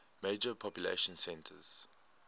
major population centers